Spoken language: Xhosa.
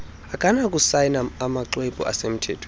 akanakusayina amaxhwebhu asemthethweni